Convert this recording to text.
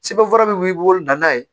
Sɛbɛn fura min b'i bolo na danna ye